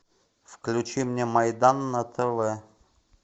включи мне майдан на тв